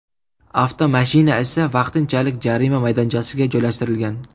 Avtomashina esa vaqtinchalik jarima maydonchasiga joylashtirilgan.